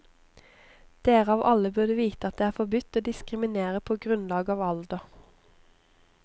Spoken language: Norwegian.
Dere av alle burde vite at det er forbudt å diskriminere på grunnlag av alder.